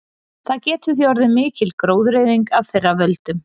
Það getur því orðið mikil gróðureyðing af þeirra völdum.